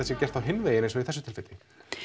sé gert á hinn veginn eins og í þessu tilfelli